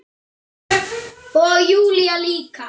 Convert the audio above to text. Og Júlía líka.